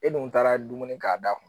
E dun taara dumuni k'a da kun